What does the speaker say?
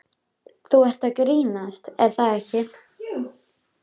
Þú ert að grínast er það ekki?